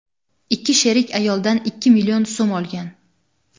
Ikki sherik ayoldan ikki million so‘m olgan.